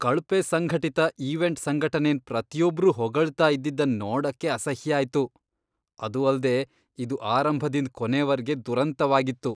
ಕಳ್ಪೆ ಸಂಘಟಿತ ಈವೆಂಟ್ ಸಂಘಟನೆನ್ ಪ್ರತಿಯೊಬ್ರೂ ಹೊಗಳ್ತಾ ಇದ್ದಿದನ್ ನೋಡಕ್ಕೆ ಅಸಹ್ಯ ಆಯ್ತು, ಅದು ಅಲ್ದೆ ಇದು ಆರಂಭದಿಂದ್ ಕೊನೆವರ್ಗೆ ದುರಂತವಾಗಿತ್ತು.